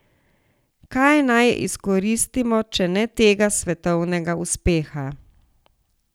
Kaj naj izkoristimo, če ne tega svetovnega uspeha?